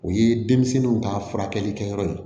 O ye denmisɛnninw ka furakɛli kɛyɔrɔ ye